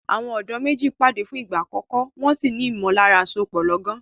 Àwọn ọ̀dọ́ méjì pàdé fún ìgbà àkọ́kọ́, wọn sì ní ìmọ̀lára àsopọ̀ lọ́gán.